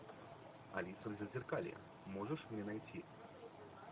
алиса в зазеркалье можешь мне найти